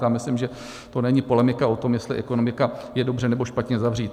A myslím, že to není polemika o tom, jestli ekonomika je dobře, nebo špatně zavřít.